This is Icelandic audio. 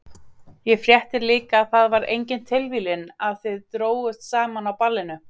Ég frétti líka að það var engin tilviljun að þið drógust saman á ballinu.